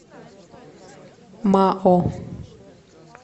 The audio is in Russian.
мао